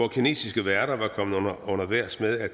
kinesiske værter var kommet under vejrs med at